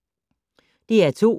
DR2